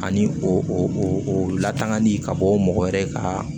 Ani o latangali ka bɔ mɔgɔ wɛrɛ ka